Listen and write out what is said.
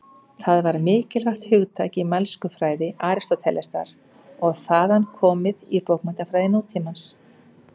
Það var mikilvægt hugtak í mælskufræði Aristótelesar og er þaðan komið í bókmenntafræði nútímans.